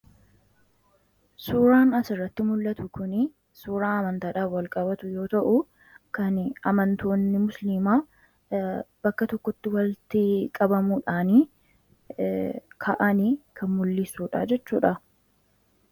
Suuraan asirratti mul'atu kun suuraa amantaadhaan wal qabatu yoo ta'u, kan amantoonni musliimaa bakka tokkotti walitti qabamuudhaan ka'an kan mul'isudha jechuudha.